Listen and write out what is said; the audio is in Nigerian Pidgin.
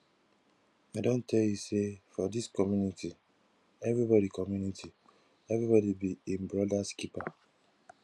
i don tell you sey for dis community everybodi community everybodi be im brodas keeper